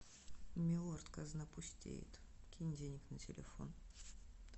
милорд казна пустеет кинь денег на телефон